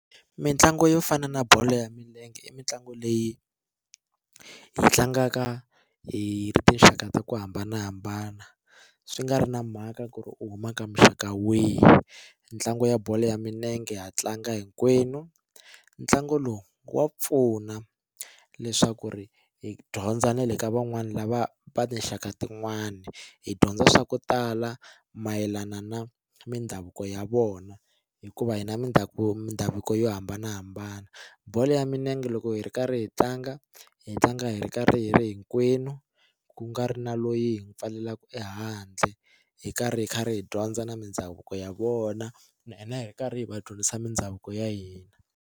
Mitlangu yo fana na bolo ya milenge i mitlangu leyi hi tlangaka hi tinxaka ta ku hambanahambana swi nga ri na mhaka ku ri u huma ka muxaka wihi ntlangu ya bolo ya milenge ha tlanga hinkwenu ntlangu lowu wa pfuna leswaku ri hi dyondza na le ka van'wani lava va tinxaka tin'wani hi dyondza swa ku tala mayelana na mindhavuko ya vona hikuva hina mindhavuko mindhavuko yo hambanahambana bolo ya minenge loko hi ri karhi hi tlanga hi tlanga hi ri karhi hi ri hinkwenu ku nga ri na loyi hi n'wi pfaleleka ehandle hi karhi hi karhi hi dyondza na mindhavuko ya vona na hina hi karhi hi va dyondzisa mindhavuko ya hina.